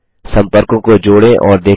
सम्पर्कों को जोड़ें और देखें